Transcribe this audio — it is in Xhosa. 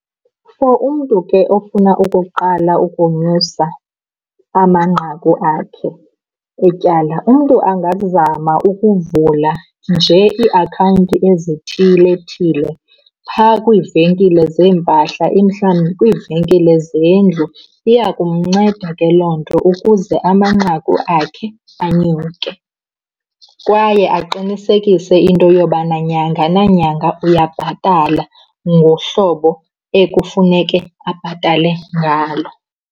For umntu ke ofuna ukuqala ukonyusa amanqaku akhe etyala, umntu angazama ukuvula nje iiakhawunti ezithilethile phaa kwiivenkile zeempahla, mhlawumbi kwiivenkile zendlu. Iya kumnceda ke loo nto ukuze amanqaku akhe anyuke. Kwaye aqinisekise into yobana nyanga nanyanga uyabhatala ngohlobo ekufuneke abhatale ngalo.